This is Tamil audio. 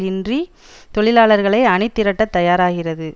இன்றி தொழிலாளர்களை அணிதிரட்டத் தயாராகிறது